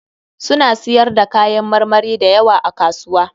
Suna siyar da kayan marmari da yawa a kasuwa.